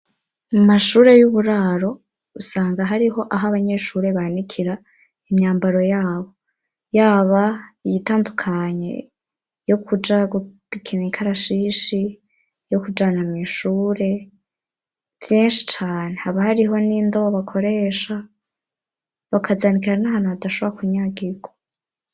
Amashure y'uburaro usanga hariho aho abanyeshure banikira imyambaro yabo, yaba iyitandukanye yo kuja gukina ikarashishi, yo kujana mw'ishure, vyinshi cane, haba hariho n'indobo bakoresha bakazanikira n'ahantu hadashora kunyagirwa.